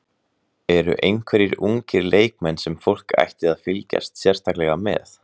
Eru einhverjir ungir leikmenn sem fólk ætti að fylgjast sérstaklega með?